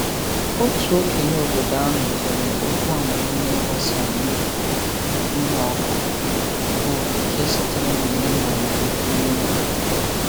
Otu okenye obodo ahụ kere okwu amamiihe gbasara ịkụ ihe ọkụkụ, bụ nke sitere n'omenala ekwumekwu.